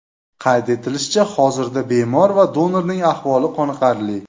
Qayd etilishicha, hozirda bemor va donorning ahvoli qoniqarli.